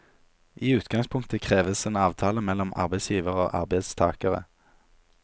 I utgangspunktet kreves en avtale mellom arbeidsgiver og arbeidstagere.